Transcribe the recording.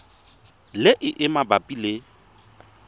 le e e mabapi le